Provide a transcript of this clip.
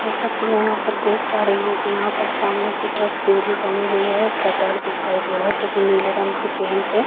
जैसा कि मैं यहाँ पर देख पा रही हूं कि यहाँ पर सामने की तरफ सीढ़ी बनी हुई है और शटर दिखाई दे रहा है जो की नीले रंग से पेंट है।